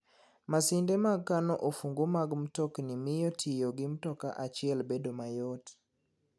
Masinde mag kano ofungu mag mtokni miyo tiyo gi mtoka achiel bedo mayot.